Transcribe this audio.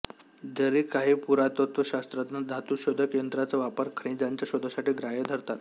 जरी काही पुरातत्त्वशास्त्रज्ञ धातु शोधक यंत्राचा वापर खजिन्याच्या शोधासाठी ग्राह्य धरतात